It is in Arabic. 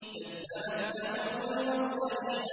كَذَّبَتْ ثَمُودُ الْمُرْسَلِينَ